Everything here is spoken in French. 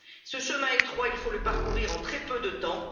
Ce chemin étroit, il faut le parcourir en très peu de temps.